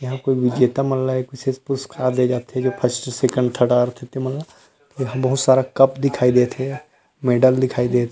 यहाँ के विजेता मन ला एक विशेष पुरस्कार ले जाथे जो फर्स्ट सेकंड थर्ड आए रईथे तेमन मन ल पूरा सब सारा कप दिखाई देथे मेडल दिखाई देथे।